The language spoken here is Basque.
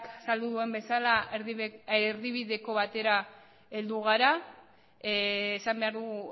azaldu duen bezala erdibideko batera heldu gara esan behar dugu